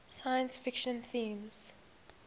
science fiction themes